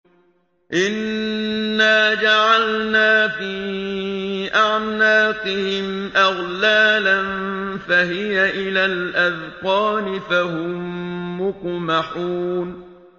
إِنَّا جَعَلْنَا فِي أَعْنَاقِهِمْ أَغْلَالًا فَهِيَ إِلَى الْأَذْقَانِ فَهُم مُّقْمَحُونَ